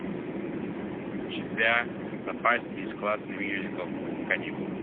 у тебя в запасе есть классный мюзикл каникулы